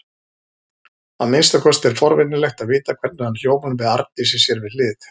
Að minnsta kosti er forvitnilegt að vita hvernig hann hljómar með Arndísi við hlið sér.